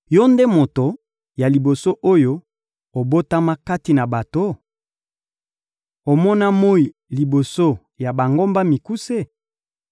Yo nde moto ya liboso oyo obotama kati na bato? Omona moyi liboso ya bangomba mikuse?